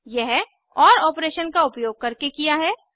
यह ओर ऑपरेशन का उपयोग करके किया है